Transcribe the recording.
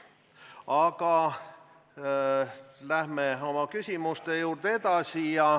Aga läheme küsimustega edasi.